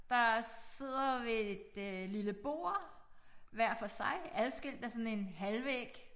Der sidder ved et øh lille bord hver for sig adskilt af sådan en halvvæg